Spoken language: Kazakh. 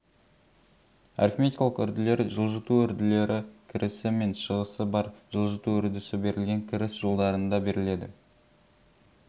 арифметикалық үрділер жылжыту үрділері кірісі мен шығысы бар жылжыту үрдісі берілген кіріс жолдарында беріледі